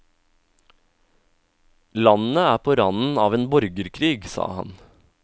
Landet er på randen av en borgerkrig, sa han.